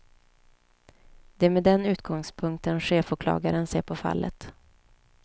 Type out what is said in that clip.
Det är med den utgångspunkten chefsåklagaren ser på fallet.